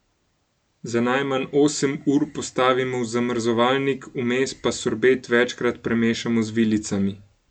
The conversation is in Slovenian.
Za najmanj osem ur postavimo v zamrzovalnik, vmes pa sorbet večkrat premešamo z vilicami.